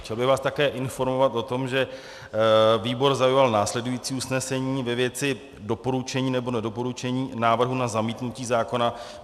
Chtěl bych vás také informovat o tom, že výbor zaujal následující usnesení ve věci doporučení nebo nedoporučení návrhu na zamítnutí zákona.